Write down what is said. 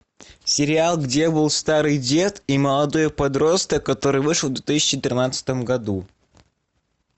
сериал где был старый дед и молодой подросток который вышел в две тысячи тринадцатом году